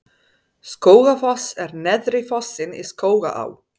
Skógafoss er neðsti fossinn í Skógaá.